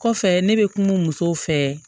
Kɔfɛ ne bɛ kuma musow fɛ